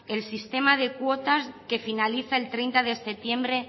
el sistema de cuotas que finaliza el treinta de septiembre